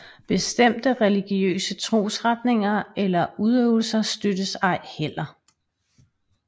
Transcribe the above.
Bestemte religiøse trosretninger eller udøvelser støttes ej heller